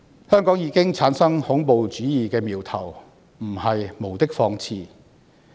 香港已經產生恐怖主義的苗頭，絕對不是無的放矢。